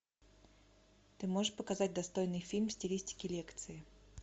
ты можешь показать достойный фильм в стилистике лекции